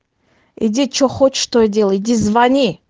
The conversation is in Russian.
иди что хочешь то и делай иди звони